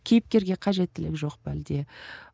кейіпкерге қажеттілік жоқ па әлде